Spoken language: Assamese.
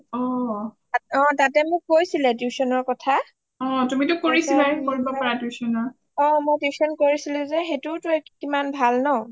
অ তাতে মোক কৈছিলে tuition ৰ কথা অ মই tuition কৰিছিলোঁ যে সেইটোয়োটো কিমান ভাল ন